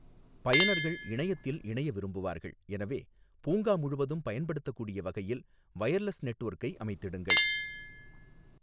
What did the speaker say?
பயனர்கள் இணையத்தில் இணைய விரும்புவார்கள், எனவே பூங்கா முழுவதும் பயன்படுத்தக்கூடிய வகையில் வயர்லெஸ் நெட்வொர்க்கை அமைத்திடுங்கள்.